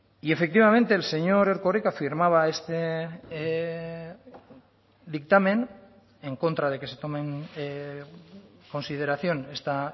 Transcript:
y efectivamente el señor erkoreka firmaba este dictamen en contra de que se tome en consideración esta